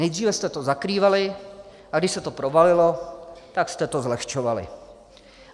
Nejdříve jste to zakrývali, a když se to provalilo, tak jste to zlehčovali.